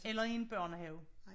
Eller i en børnehave